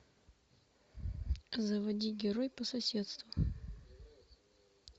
заводи герой по соседству